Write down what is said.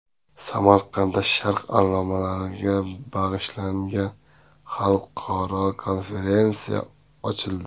Samarqandda sharq allomalariga bag‘ishlangan xalqaro konferensiya ochildi .